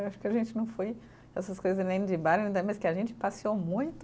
Acho que a gente não foi essas coisas nem de bar, ainda mais que a gente passeou muito